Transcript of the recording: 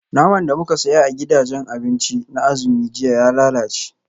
Naman da muka saya a gidajen abinci na azumi jiya ya lalace